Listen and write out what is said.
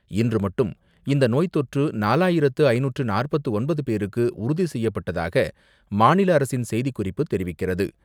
இன்று மட்டும் இந்த நோய் தொற்று நாலாயிரத்து ஐந்நூற்று நாற்பத்து ஒன்பது பேருக்கு உறுதி செய்யப்பட்டதாக மாநில அரசின் செய்திக்குறிப்பு தெரிவிக்கிறது.